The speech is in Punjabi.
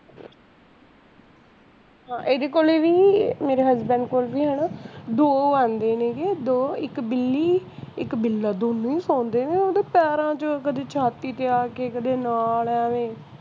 ਇਹਦੇ ਕੋਲੇ ਵੀ ਮੇਰੇ husband ਕੋਲ ਵੀ ਹੈਨਾ ਦੋ ਆਂਦੇ ਨੇ ਸੀਗੇ ਦੋ ਇੱਕ ਬਿੱਲੀ ਇੱਕ ਬਿੱਲਾ ਦੋਨੋ ਹੀ ਨੇ ਪੈਰਾਂ ਚ ਕਦੀ ਛਾਤੀ ਤੇ ਆ ਕੇ ਕਦੇ ਨਾਲ ਆ ਕੇ